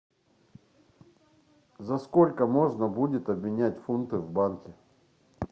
за сколько можно будет обменять фунты в банке